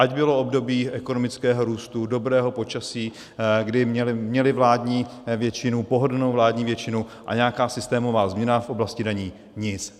Ať bylo období ekonomického růstu, dobrého počasí, kdy měli vládní většinu, pohodlnou vládní většinu, a nějaká systémová změna v oblasti daní nic.